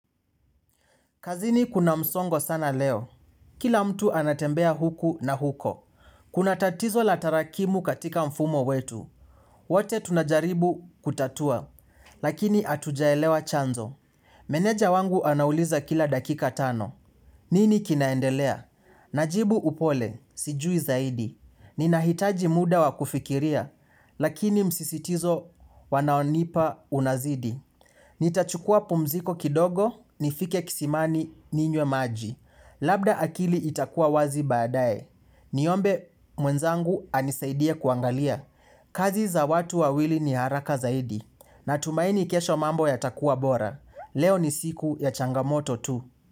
Kazini kuna msongo sana leo. Kila mtu anatembea huku na huko. Kuna tatizo la tarakimu katika mfumo wetu. Wote tunajaribu kutatua, lakini atujaelewa chanzo. Meneja wangu anauliza kila dakika tano. Nini kinaendelea? Najibu upole, sijui zaidi. Ninahitaji muda wakufikiria, lakini msisitizo wanaonipa unazidi. Nitachukua pumziko kidogo, nifike kisimani ninywe maji. Labda akili itakuwa wazi baadaye. Niombe mwenzangu anisaidie kuangalia. Kazi za watu wawili ni haraka zaidi. Natumaini kesho mambo ya takuwa bora. Leo ni siku ya changamoto tu.